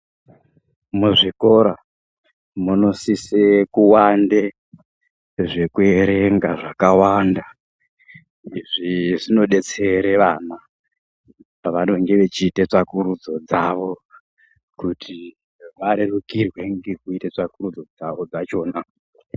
Muzvikoro munosise kuwande zvekuerenga zvakawanda izvo zvinodetsere vana pavanonga vechiita tsvakurudzo dzavo kuti varerukirwe nekuita tsvakurudzo dzawo dzachona.